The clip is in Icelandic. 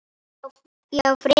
Já, frekar.